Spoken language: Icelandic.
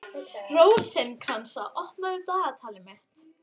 Rósinkransa, opnaðu dagatalið mitt.